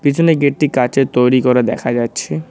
পিছনের গেটটি কাঁচের তৈরি করা দেখা যাচ্ছে।